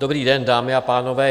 Dobrý den, dámy a pánové.